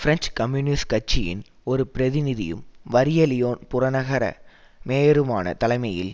French communist கட்சியின் ஒரு பிரதிநிதியும் வறிய லியோன் புறநகர மேயருமான தலைமையில்